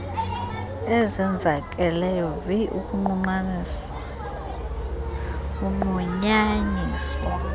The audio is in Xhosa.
ezenzakeleyo vi ukunqunyanyiswa